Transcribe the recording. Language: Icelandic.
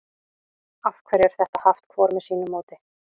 af hverju er þetta haft hvort með sínu móti